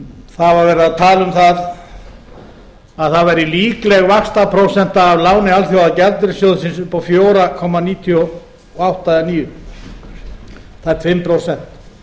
það var verið að tala um að það væri líkleg vaxtaprósenta af láni alþjóðagjaldeyrissjóðsins upp á fjóra komma níutíu og átta eða fjögur komma níutíu og níu tæp fimm prósent